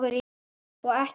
Og ekki að undra.